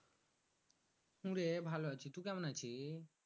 হু রে ভালো আছি। তুই কেমন আছিস?